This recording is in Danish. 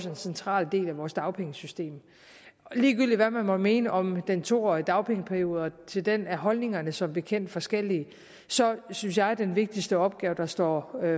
en central del af vores dagpengesystem ligegyldigt hvad man måtte mene om den to årige dagpengeperiode til den er holdningerne som bekendt forskellige så synes jeg den vigtigste opgave der står